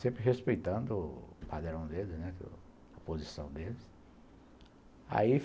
Sempre respeitando o padrão deles, a posição deles. Aí